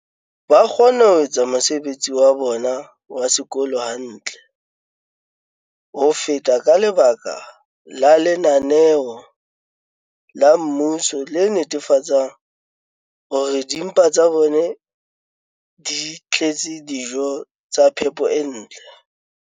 ba kgona ho etsa mosebetsi wa bona wa sekolo hantle ho feta ka lebaka la lenaneo la mmuso le netefatsang hore dimpa tsa bona di tletse dijo tsa phepo e ntle.